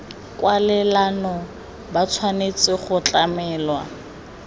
kwalelano ba tshwanetse go tlamelwa